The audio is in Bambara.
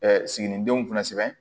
siginidenw fana sɛbɛn